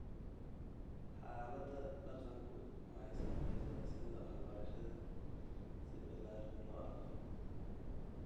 Xaaladda dhaqanku waxay saamaysaa sida waxbarashada si ballaaran loo arko.